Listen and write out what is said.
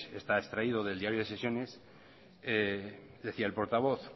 está extraído del diario de sesiones decía el portavoz